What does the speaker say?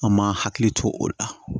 An ma hakili to o la